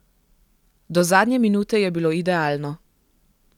Do zadnje minute je bilo idealno.